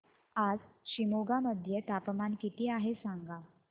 आज शिमोगा मध्ये तापमान किती आहे सांगा